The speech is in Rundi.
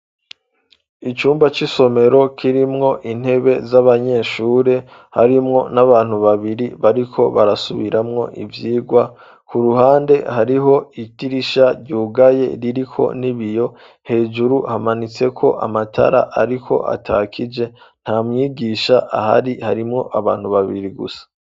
Icumba c'isomero kirimwo intebe z'abanyeshuri harimwo n'abantu babiri bariko barasubiramwo ivyigwa, ku ruhande hariho itirisha ryugaye ririko n'ibiyo hejuru hamanitse ko amatara ariko atakije nta mwigisha ahari harimwo abantu babiri gusa.